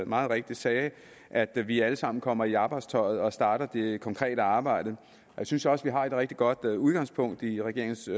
meget rigtigt sagde at vi alle sammen kommer i arbejdstøjet og starter det konkrete arbejde jeg synes også vi har et rigtig godt udgangspunkt i regeringens